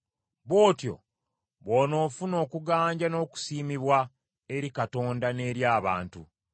Bw’otyo bw’onoofuna okuganja n’okusiimibwa eri Katonda n’eri abantu.